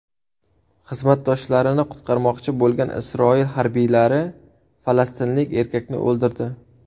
Xizmatdoshlarini qutqarmoqchi bo‘lgan Isroil harbiylari falastinlik erkakni o‘ldirdi.